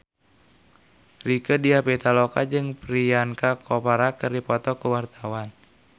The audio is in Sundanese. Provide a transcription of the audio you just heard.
Rieke Diah Pitaloka jeung Priyanka Chopra keur dipoto ku wartawan